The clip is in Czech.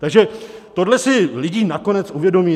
Takže tohle si lidé nakonec uvědomí.